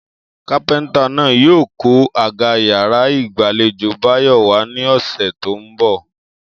Kápé̩ntà náà yóò kó àga yàrá ìgbàlejò Báyò̩ wá ní ò̩sè̩ tó ń bò̩